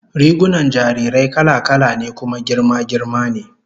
Rigunan jarirai kala-kala ne kuma girma girma ne